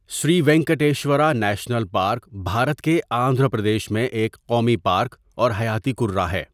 سری Venkateswara National Park Bharat کے آندھرا پردیش میں ایک قومی پارک اور حَياتی کُرّہ ہے۔